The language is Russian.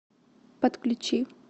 подключи